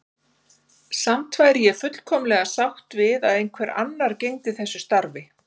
Samt væri ég fullkomlega sátt við að einhver annar gegndi þessu starfi.